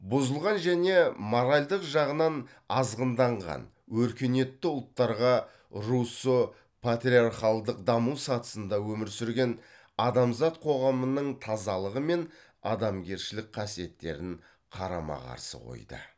бұзылған және моральдық жағынан азғынданған өркениетті ұлттарға руссо патриархалдық даму сатысында өмір сүрген адамзат қоғамының тазалығы мен адамгершілік қасиеттерін қарама қарсы қойды